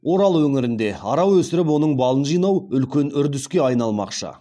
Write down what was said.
орал өңірінде ара өсіріп оның балын жинау үлкен үрдіске айналмақшы